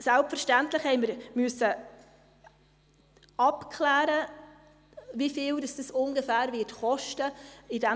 Selbstverständlich mussten wir abklären, wie viel das ungefähr kosten wird.